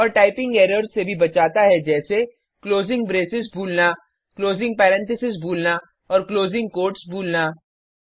और typing errors से भी बचाता है जैसे क्लोजिंग ब्रैसेस भूलना क्लोजिंग पैरेनथीसेस भूलना और क्लोजिंग कोट्स भूलना